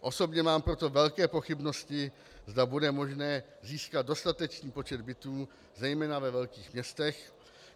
Osobně mám proto velké pochybnosti, zda bude možné získat dostatečný počet bytů zejména ve velkých městech.